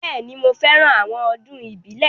Bẹ́ẹ̀ni, mo fẹ́ran àwọn ọdún ìbílẹ̀